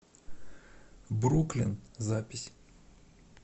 бруклин запись